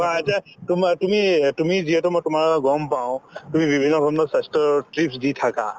যে তোমা তুমিয়ে তুমি যিহেতু মই তোমাৰ গম পাওঁ তুমি বিভিন্ন ধৰণৰ স্ৱাস্থ্যৰ tips দি থাকা